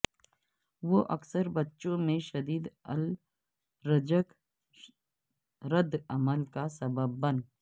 وہ اکثر بچوں میں شدید الرجک رد عمل کا سبب بن